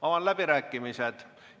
Avan läbirääkimised.